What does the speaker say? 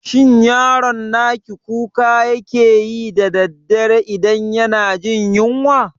Shin yaron naki kuka yake yi da daddare idan yana jin yunwa?